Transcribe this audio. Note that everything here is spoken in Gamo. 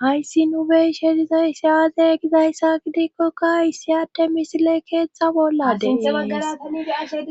hayssi nu beyshe dizayssi aaze gizayssa gidikkoka issi hatte misile keexxa bolladea